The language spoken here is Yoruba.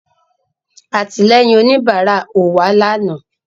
Àtìlẹ́yìn òníbárà ò wá lànàá